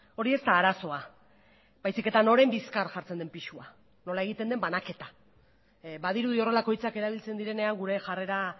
hori ez da arazoa baizik eta noren bizkar jartzen den pisua nola egiten den banaketa badirudi horrelako hitzak erabiltzen direnean gure jarrera